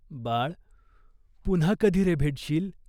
"बाळ, पुन्हा कधी रे भेटशील ?